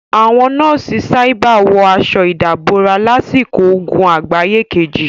Àwọn nọ́ọ̀sì sábíà wọ aṣọ ìdàbora lásìkò ogun àgbáyé kejì.